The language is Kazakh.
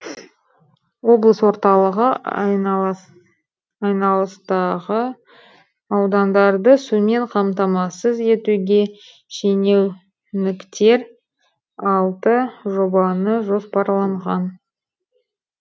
облыс орталығы айналасындағы аудандарды сумен қамтамасыз етуге шенеуніктер алты жобаны жоспарлаған